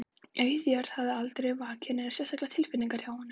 Auð jörð hafði aldrei vakið neinar sérstakar tilfinningar hjá honum.